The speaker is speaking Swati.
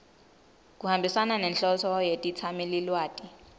kuhambisana nenhloso netetsamelilwati